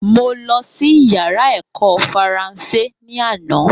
Mo lọsí yàrá èkó faransé ní àná